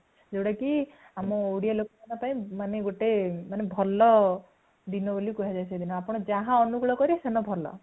ଜଉଟା କି ଆମ ଓଡ଼ିଆ ଲୋକଙ୍କପାଇଁ, ମାନେ ଗୋଟେ, ମାନେ ଭଲ ଦିନ ବୋଲି କୁହା ଯାଏ ସେଦିନ | ଆପଣ ଯାହା ଅନୁକୂଳ କରିବେ ସେଦିନ ଭଲ |